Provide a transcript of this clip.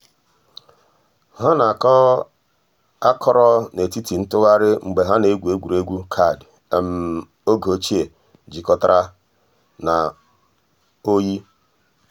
hà nà-àkọ̀ àkọ̀rò nètìtì ntụ̀ghàrì mgbè hà nà-ègwù ègwè́ré́gwụ̀ kaadị ògè òchìè jìkọ̀tàrà nà òyì.